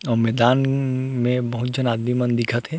आऊ मैदान में बहुत झन आदमी मन दिखत हे।